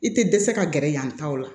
I tɛ dɛsɛ ka gɛrɛ yan ta o la